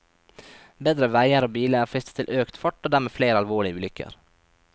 Bedre veier og biler frister til økt fart og dermed flere alvorlige ulykker.